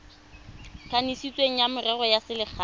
kanisitsweng wa merero ya selegae